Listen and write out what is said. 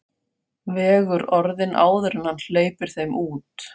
Vegur orðin áður en hann hleypir þeim út.